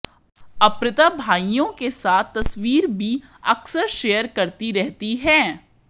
अर्पिता भाईयों के साथ तस्वीर भी अक्सर शेयर करती रहती हैं